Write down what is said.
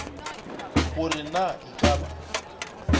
gore na e ka ba